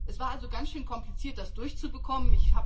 Es war also ganz schön kompliziert, das durchzubekommen.